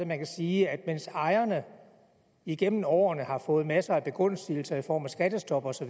man kan sige at mens ejerne igennem årene har fået masser af begunstigelser i form af skattestop osv